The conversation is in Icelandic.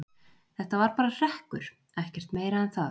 Þetta var bara hrekkur, ekkert meira en það.